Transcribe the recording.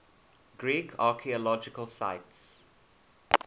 greek archaeological sites